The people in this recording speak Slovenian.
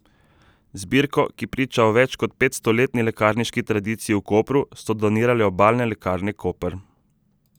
Zbirko, ki priča o več kot petstoletni lekarniški tradiciji v Kopru, so donirale Obalne lekarne Koper.